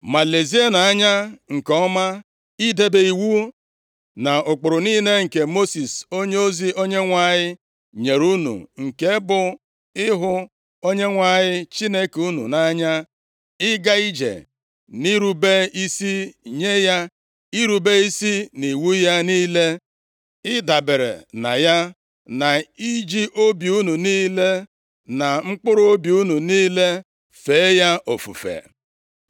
Ma lezienụ anya nke ọma idebe iwu na ụkpụrụ niile nke Mosis onyeozi Onyenwe anyị nyere unu: nke bụ ịhụ Onyenwe anyị Chineke unu nʼanya, ịga ije nʼirube isi nye ya, irube isi nʼiwu ya niile, ịdabere na ya, na iji obi unu niile na mkpụrụobi unu niile fee ya ofufe.”